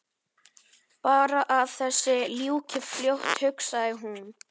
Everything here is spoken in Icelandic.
Bara að þessu ljúki fljótt hugsaði hún.